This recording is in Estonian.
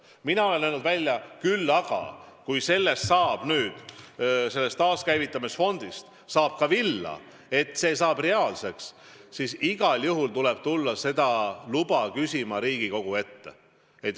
Mina olen küll välja öelnud, et kui sellest taaskäivitamise fondist saab ka villa, kui see saab reaalseks, siis igal juhul tuleb tulla seda luba küsima Riigikogu ette.